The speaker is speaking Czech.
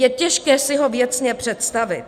Je těžké si ho věcně představit.